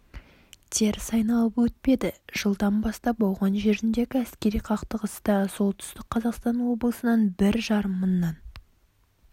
теріс айналып өтпеді жылдан бастап ауған жеріндегі әскери қақтығыста солтүстік қазақстан облысынан бір жарым мыңнан